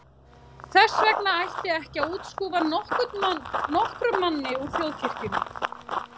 Þess vegna ætti ekki að útskúfa nokkrum manni úr Þjóðkirkjunni.